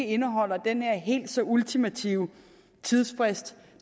indeholder den her helt så ultimative tidsfrist